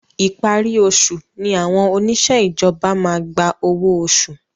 Ìparí oṣù ni àwọn oníṣe ìjọba maá gba ọwọ oṣù